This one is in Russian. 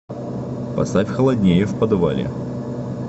поставь холоднее в подвале